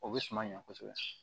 O bɛ suman ɲɛ kosɛbɛ